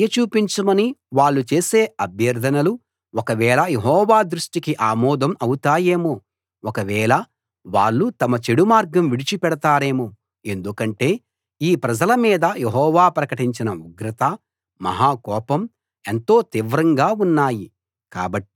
దయ చూపించమని వాళ్ళు చేసే అభ్యర్ధనలు ఒకవేళ యెహోవా దృష్టికి ఆమోదం అవుతాయేమో ఒకవేళ వాళ్ళు తమ చెడుమార్గం విడిచిపెడతారేమో ఎందుకంటే ఈ ప్రజల మీద యెహోవా ప్రకటించిన ఉగ్రత మహాకోపం ఎంతో తీవ్రంగా ఉన్నాయి